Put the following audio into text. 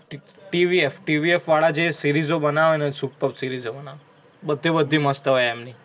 ટ TvF, TvF વાળા જે series ઓ બનાવે ને એ superb series ઓ બનાવે. બધે બધી મસ્ત હોઇ એમની.